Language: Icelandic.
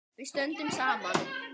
Við stöndum saman.